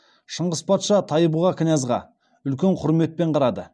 шыңғыс патша тайбұға князға үлкен құрметпен қарады